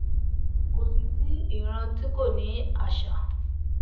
kò sí sí ìran tí kò ní àṣà